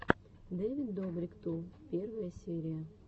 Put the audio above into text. дэвид добрик ту первая серия